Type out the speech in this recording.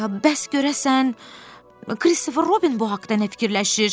Bəs görəsən Kristofer Robin bu haqda nə fikirləşir?